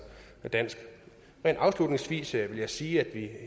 dansk rent afslutningsvis vil jeg sige